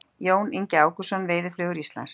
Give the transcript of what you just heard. Jón Ingi Ágústsson, Veiðiflugur Íslands.